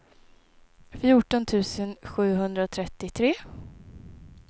fjorton tusen sjuhundratrettiotre